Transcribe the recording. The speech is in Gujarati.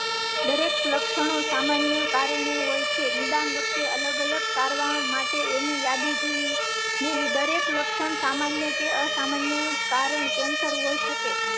દરેક લક્ષણો સામાન્ય કારણો હોય છે. નિદાન વખતે અલગ અલગ તારવા માટે ની યાદી જોઈ ને દરેક લક્ષણ સામાન્ય કે અસામાન્ય. કારણ cancer હોઇ શકે.